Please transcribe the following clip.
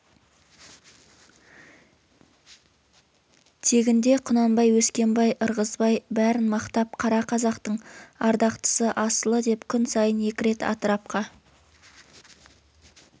тегінде құнанбай өскенбай ырғызбай бәрін мақтап кара қазақтың ардақтысы асылы деп күн сайын екі рет атырапқа